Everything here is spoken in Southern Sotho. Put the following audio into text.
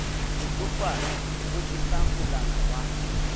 botsofadi bo jesa molala wa